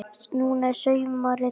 Núna er sumarið komið.